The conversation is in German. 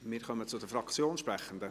Wir kommen zu den Fraktionssprechenden.